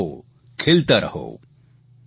રમતા રહો ખેલતા રહો